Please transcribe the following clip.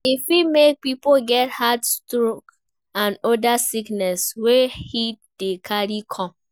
E fit make pipo get heat stroke and oda sickness wey heat dey carry come